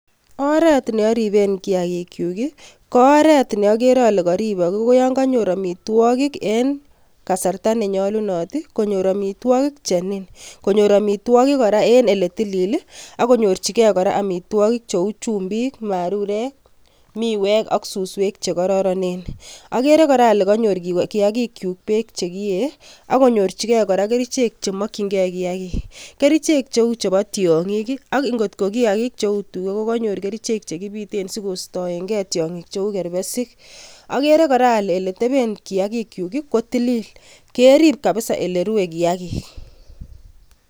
Oret neoriben chametabgee nebo kiyaagikyuk KO oret neokere ole konyor amitwogiik en sait nenoton, konyor amitwogiik che niin. Konyoor amitwogiik en eletilil ak konyorchigei amitwogik cheu chumbik, marurek, miwek ak suswek che kororonen. Ageere kora ale konyor kiyaagikyuk beek che kiyee ak konyorchigee kora kerichek chemokyinge kiyaagiik. Kerichek cheu chebo tiongiik ak ngot kiyaagiik cheu tugaa konyor kerichek che kibiten sikoistoengee tiongiik cheu kerbesik. Ageere kora ale ele teeben kiyaagikyuk kotilil, kerrib kabisa ole rue kiyaagiik.